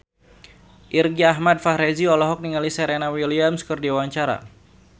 Irgi Ahmad Fahrezi olohok ningali Serena Williams keur diwawancara